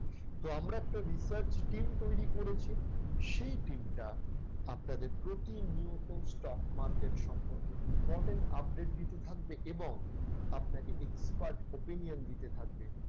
তো আমরা একটা research team তৈরি করেছি। সেই team টা আপনাদের প্রতিনিয়ত stock market সম্পর্কে important update দিতে থাকবে এবং আপনাকে expert opinion দিতে থাকবে।